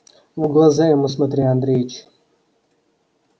в глаза ему смотри андреич